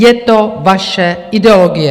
Je to vaše ideologie.